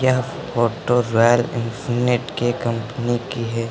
यह photo Royal Enfield के company की है।